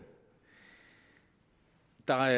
der